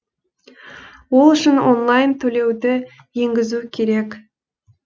ол үшін онлайн төлеуді енгізу керек